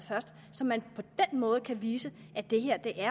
så man på den måde kan vise at det her